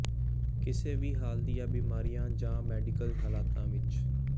ਕਿਸੇ ਵੀ ਹਾਲ ਦੀਆਂ ਬੀਮਾਰੀਆਂ ਜਾਂ ਮੈਡੀਕਲ ਹਾਲਤਾਂ ਵਿੱਚ